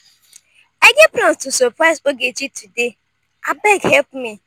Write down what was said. i get plans to surprise ogechi today abeg help me